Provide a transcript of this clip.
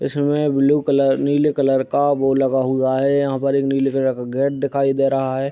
इस मे blue colour नीले कलर का बोर्ड लगा हुआ है । यहाँ पर एक नीले कलर का गेट दिखाई दे रहा है ।